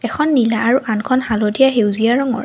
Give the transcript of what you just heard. এখন নীলা আৰু আনখন হালধীয়া সেউজীয়া ৰঙৰ।